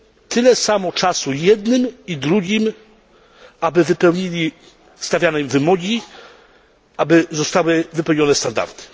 tyle samo czasu jednym i drugim, aby wypełnili stawiane im wymogi, aby zostały wypełnione standardy.